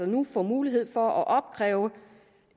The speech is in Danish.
nu få mulighed for at opkræve